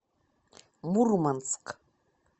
мурманск